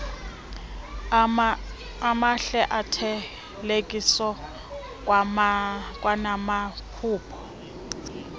amahle othelekiso kwanamaphulo